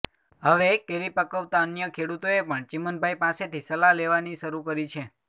હવે કેરી પકવતા અન્ય ખેડૂતોએ પણ ચીમનભાઈ પાસેથી સલાહ લેવાની શરુ કરી છે